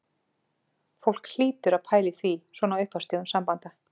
Fólk hlýtur að pæla í því svona á upphafsstigum sambanda